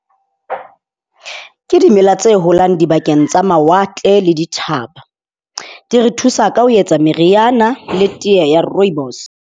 Ke dimela tse holang dibakeng tsa mawatle le dithaba. Di re thusa ka ho etsa meriana le tee ya rooibos.